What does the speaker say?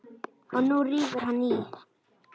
Og nú rífur hann í.